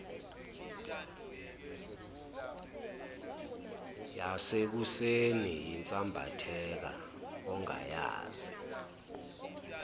yasekuseni yinsambatheka ongayazi